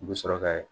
U bɛ sɔrɔ ka